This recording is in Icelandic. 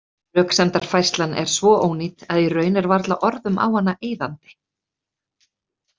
Röksemdafærslan er svo ónýt að í raun er varla orðum á hana eyðandi.